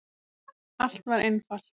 Allt var einfalt!